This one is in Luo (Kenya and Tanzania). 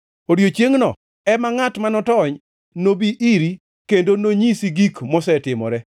Odiechiengno em ngʼat ma notony nobi iri kendo nonyisi gik mosetimore.